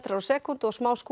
á sekúndu og